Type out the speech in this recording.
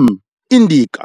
M. indica